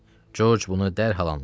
Corc bunu dərhal anladı.